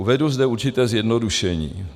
Uvedu zde určité zjednodušení.